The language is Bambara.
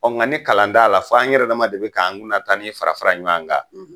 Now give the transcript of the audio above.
Ɔn nga ni kalan t'a la fo an yɛrɛ ma de bi k'an kunna ta nin fara fara ɲɔgɔn kan